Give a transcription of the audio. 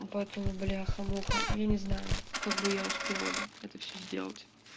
поэтому бляха муха я не знаю как бы я успела бы это все сделать